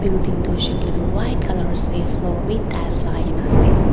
Building tuh hoishe koile tuh white colour ase floor bhi tiles lagaikena ase.